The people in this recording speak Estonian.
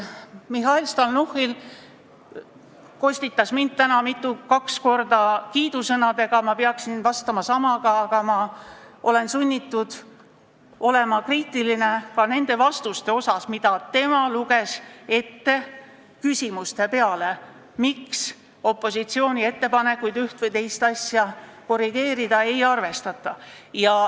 Mihhail Stalnuhhin kostitas mind täna kaks korda kiidusõnadega, ma peaksin vastama samaga, aga ma olen sunnitud olema kriitiline ka nende vastuste osas, mida ta ette luges küsimuste peale, miks opositsiooni ettepanekuid üht või teist asja korrigeerida ei arvestata.